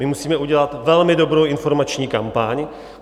My musíme udělat velmi dobrou informační kampaň.